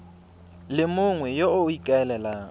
le mongwe yo o ikaelelang